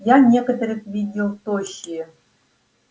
я некоторых видел тощие